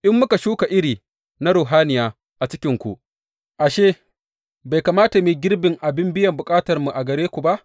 In muka shuka iri na ruhaniya a cikinku, ashe, bai kamata mu yi girbin abin biyan bukatarmu daga gare ku ba?